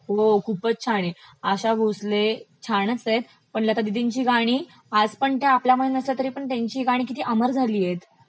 हो खूपचं छान आहेत. आशा भोसले छानच आहेत, पण लतादिदिंची गाणी आजपण त्या आपल्यामध्ये नसल्या तरीपण त्याची गाणी किती अमर झालीयत